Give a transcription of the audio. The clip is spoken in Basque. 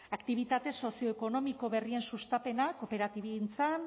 aktibitate sozioekonomiko berrien sustapena kooperatibagintzan